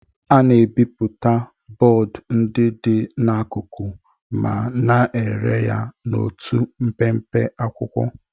A na-ebipụta bọọdụ ndị dị n'akụkụ ma na-ere ya n'otu mpempe akwụkwọ.